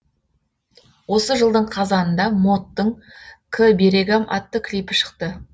осы жылдың қазанында моттың к берегам атты клипі шықты